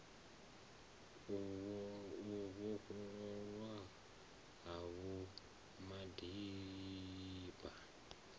u vhofhololwa ha vho madiba